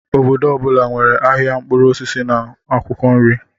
Obodo ọ bụla nwere ahịa mkpụrụ osisi na akwụkwọ nri.